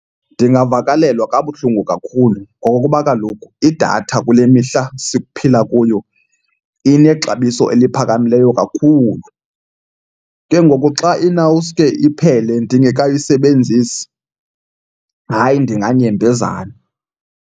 Ndingavakalelwa kabuhlungu kakhulu ngokuba kaloku idatha kule mihla siphila kuyo inexabiso eliphakamileyo kakhulu. Ke ngoku xa inawuske iphele ndingekayisebenzisi, hayi, ndinganyembezana.